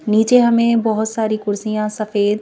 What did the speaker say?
नीचे हमें बहुत सारी कुर्सियां सफेद--